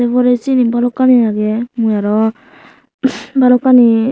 ei porey syeni balokkani agey mui aro balokkani.